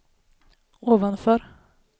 ovanför